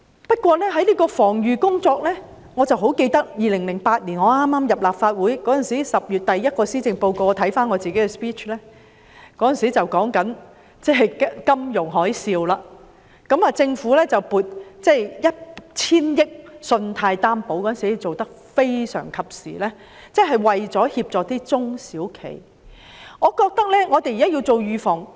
不過，在防預工作方面，我記得我在2008年剛加入立法會，當我翻看當年10月我就首份施政報告的發言時，發現當中談及金融海嘯，政府撥出 1,000 億元作為信貸擔保，當時的安排非常及時，為中小企業提供協助。